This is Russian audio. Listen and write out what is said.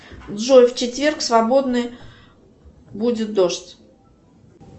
джой в четверг свободный будет дождь